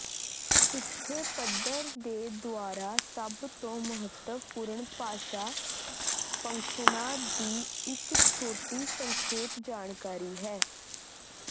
ਇੱਥੇ ਪੱਧਰ ਦੇ ਦੁਆਰਾ ਸਭ ਤੋਂ ਮਹੱਤਵਪੂਰਨ ਭਾਸ਼ਾ ਫੰਕਸ਼ਨਾਂ ਦੀ ਇੱਕ ਛੋਟੀ ਸੰਖੇਪ ਜਾਣਕਾਰੀ ਹੈ